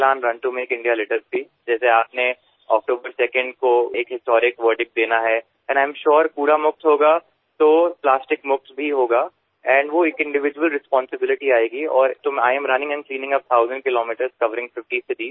Elan run to make India litter free जैसे आपने October 2nd को एक हिस्टोरिक वर्डिक्ट देना है एंड आई एएम सुरे कूड़ा मुक्त होगा तो प्लास्टिक मुक्त भी होगा एंड वो एक इंडिविड्यूअल रिस्पांसिबिलिटी आएगी और तो I am running and cleaning up thousand kilometer covering 50 cities